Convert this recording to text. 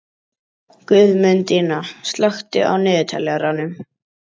Guðmundína, slökktu á niðurteljaranum.